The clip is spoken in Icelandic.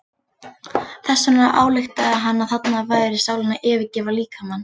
Þess vegna ályktaði hann að þarna væri sálin að yfirgefa líkamann.